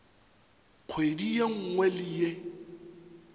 kgwedi ye nngwe le ye